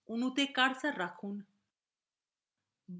অণুতে cursor রাখুন